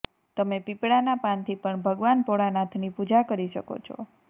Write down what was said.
તમે પીપળાના પાનથી પણ ભગવાન ભોળાનાથની પૂજા કરી શકો છો